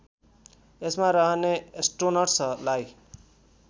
यसमा रहने एस्ट्रोनट्सलाई